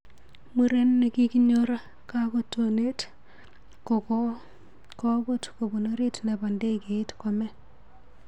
Muren nekinyor kakotonet kokakobut kopun orit nebo ndegeit kome.